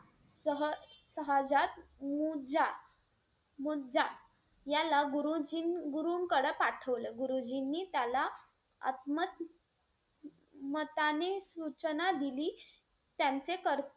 सह~ सहजात मुज्जा मुज्जा याला गुरुजीं~ गुरुंकडे पाठवले. गुरुजींनी त्याला आत्म~ मताने सूचना दिली.